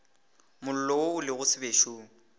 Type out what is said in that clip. mollo wo o lego sebešong